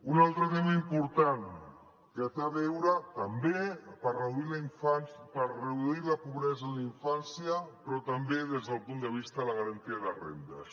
un altre tema important que té a veure també per reduir la pobresa en la infància però també des del punt de vista de la garantia de rendes